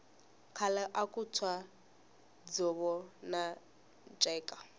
khale aku tshwa dzovo na nceka